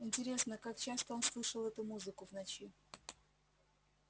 интересно как часто он слышал эту музыку в ночи